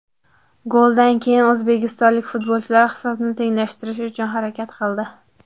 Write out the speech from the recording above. Goldan keyin o‘zbekistonlik futbolchilar hisobni tenglashtirish uchun harakat qildi.